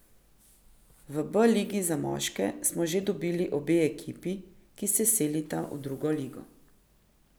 V B ligi za moške smo že dobili obe ekipi, ki se selita v drugo ligo.